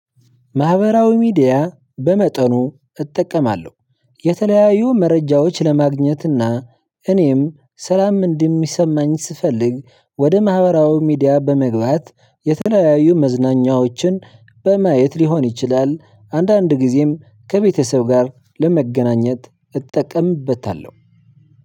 ማህበራዊ ሚዲያ በመጠኑ እጠቀማለሁ። የተለያዩ መረጃዎች ለማግኘት እና ሰላም እንደሚሰማኝ ስፈልግ ወደ ማህበራዊ ሚዲያ በመግባት የተለያዩ መዝናኛዎችን በማየት ሊሆን ይችላል። አንዳንድ ጊዜም ከቤተሰብ ጋር ለመገናኘት እጠቀምበታለሁ።